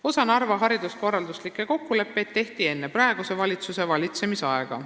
Osa Narva hariduskorralduslikke kokkuleppeid tehti enne praeguse valitsuse valitsemisaega.